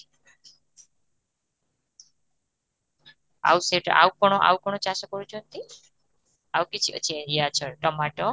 ଆଉ ସେଟା ଆଉ କଣ ଆଉ କଣ ଚାଷ କରୁଛନ୍ତି, ଆଉ କିଛି ଅଛି ୟା ଛଡା ଟମାଟ?